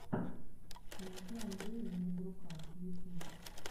найти андрея немодрука ютьюб